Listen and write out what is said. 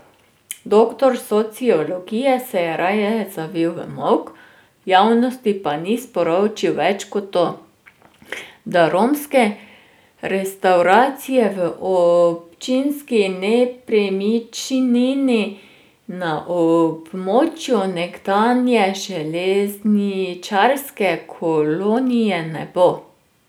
Doktor sociologije se je raje zavil v molk, javnosti pa ni sporočil več kot to, da romske restavracije v občinski nepremičnini na območju nekdanje železničarske kolonije ne bo.